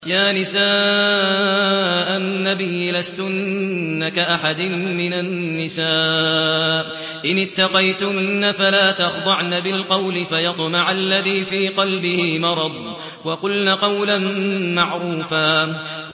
يَا نِسَاءَ النَّبِيِّ لَسْتُنَّ كَأَحَدٍ مِّنَ النِّسَاءِ ۚ إِنِ اتَّقَيْتُنَّ فَلَا تَخْضَعْنَ بِالْقَوْلِ فَيَطْمَعَ الَّذِي فِي قَلْبِهِ مَرَضٌ وَقُلْنَ قَوْلًا مَّعْرُوفًا